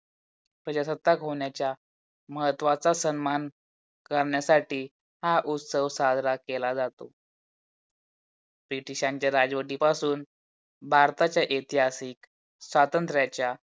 प्रजासत्तात होण्याच्या महत्वाचे सन्मान करण्यासाठी हा उत्सव साजरा केला जातो. ब्रिटीश्यांच्या राजवाटी पासुन भारतचा ऐतिहासिक स्वातंत्र्यचा